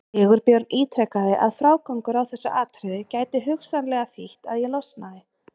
Sigurbjörn ítrekaði að frágangur á þessu atriði gæti hugsanlega þýtt að ég losnaði.